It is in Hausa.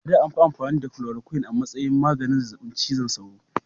A da, an fi amfani da chloroquine a matsayin maganin zazzabin cizon sauro.